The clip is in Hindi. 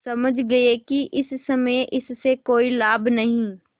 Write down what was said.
समझ गये कि इस समय इससे कोई लाभ नहीं